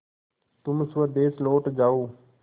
तुम स्वदेश लौट जाओ